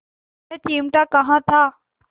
यह चिमटा कहाँ था